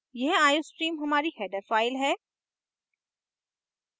यह iostream हमारी header file है